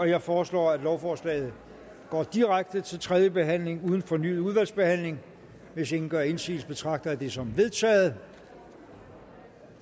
jeg foreslår at lovforslaget går direkte til tredje behandling uden fornyet udvalgsbehandling hvis ingen gør indsigelse betragter jeg det som vedtaget